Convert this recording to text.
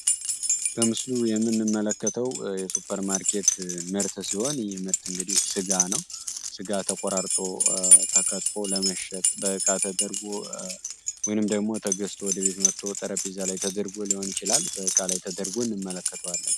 በምስሉ የምንመለከተው የሱበር ማርኬት ምርት ሲሆን ይህ ምርት እንግዲህ ስጋ ነው ስጋ ተቆራርጦ ተከትፎ ለመሸጥ በቃ ተደርጎ ወይንም ደግሞ ተገዝቶ ወደቤት መጦ ጠረጴዛ ላይ ተደርጎ ሊሆን ይችላል እቃ ላይ ተደርጎ እንመለከተዋለን።